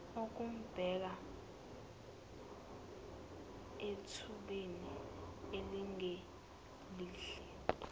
okumbeka ethubeni elingelihle